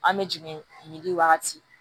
An bɛ jigin yiri wagati